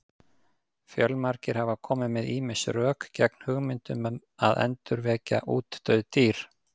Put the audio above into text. Fjölmargir hafa komið með ýmis rök gegn hugmyndum um að endurvekja útdauð dýr.